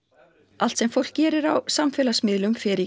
allt sem fólk gerir á samfélagsmiðlum fer í